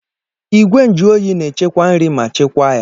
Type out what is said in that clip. Igwe nju oyi na-echekwa nri ma chekwaa ya